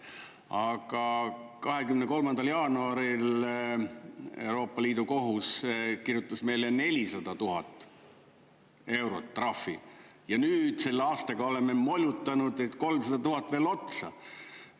Aga 23. jaanuaril Euroopa Liidu kohus kirjutas meile 400 000 eurot trahvi ja nüüd selle aastaga oleme molutanud 300 000 veel otsa.